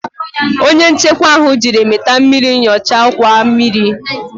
Onye nchekwa ahụ jiri mita mmiri nyochaa ọkwa mmiri